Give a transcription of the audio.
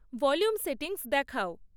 volume settings দেখাও